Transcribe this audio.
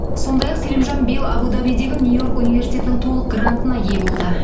сондай ақ селимжан биыл абу дабидегі нью йорк университетінің толық грантына ие болды